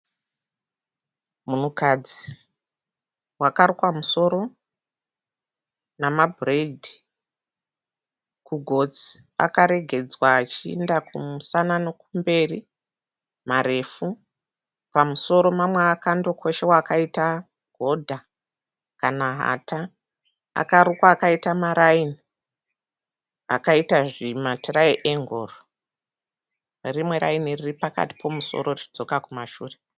Munhukadzi wakarukwa musoro nemabhureyidhi. Kugotsi akaregedzwa achienda kumusana nekumberi marefu. Pamusoro mamwe akandokoshewa akaita godha kana hata. Akarukwa akaita marayini akaita zvimatirayengoro nerimwe rayini riri pakati pemusoro richidzoka kumashure.